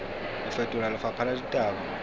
ho fetola lefapha la ditaba